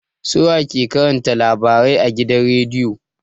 Su wa ke karanta labarai a gidan rediyo?